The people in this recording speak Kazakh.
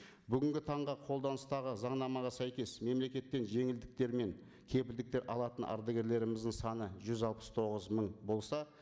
бүгінгі таңда қолданыстағы заңнамаға сәйкес мемлекеттен жеңілдіктер мен кепілдіктер алатын ардагерлеріміздің саны жүз алпыс тоғыз мың болса